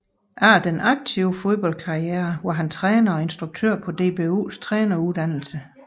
Efter den aktive fodboldkarriere var han træner og instruktør på DBUs træneruddannelse